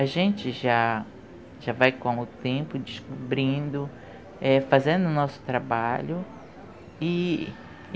A gente já, já vai com o tempo descobrindo, fazendo o nosso trabalho. E...